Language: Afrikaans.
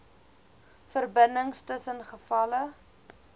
verbindings tussen gevalle